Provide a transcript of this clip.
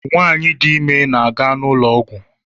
Nwanyị dị ime na-aga n'ụlọọgwọ